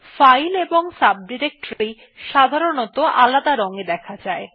file এবং subdirectory সাধারনতঃ আলাদা রং এ দেখা যায়